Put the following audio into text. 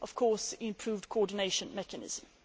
of course with an improved coordination mechanism.